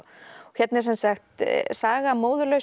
hérna er saga